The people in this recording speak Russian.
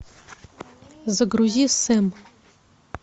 загрузи сэм